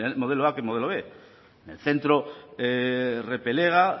modelo a que el modelo b en el centro repelega